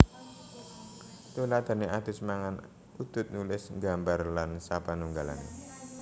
Tuladhané adus mangan udud nulis nggambar lan sapanunggalané